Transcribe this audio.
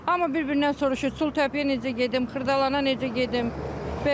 Hamı bir-birindən soruşur, Çul təpəyə necə gedim, Xırdalana necə gedim.